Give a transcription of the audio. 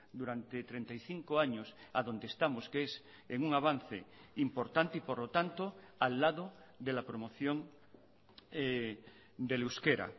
durante treinta y cinco años a donde estamos que es en un avance importante y por lo tanto al lado de la promoción del euskera